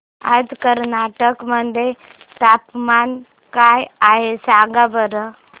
आज कर्नाटक मध्ये तापमान काय आहे सांगा बरं